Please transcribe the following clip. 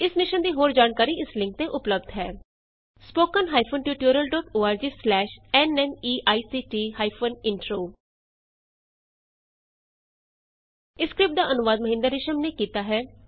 ਇਸ ਮਿਸ਼ਨ ਦੀ ਹੋਰ ਜਾਣਕਾਰੀ ਇਸ ਲਿੰਕ ਤੇ ਉਪਲੱਭਦ ਹੈ spoken hyphen tutorial dot O R G slash N MEICT hyphen intro ਇਸ ਸਕਰਿਪਟ ਦਾ ਅਨੁਵਾਦ ਮਹਿੰਦਰ ਰਿਸ਼ਮ ਨੇ ਕੀਤਾ ਹੈ